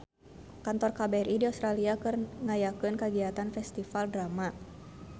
Kantor KBRI di Australia keur ngayakeun kagiatan Festival Drama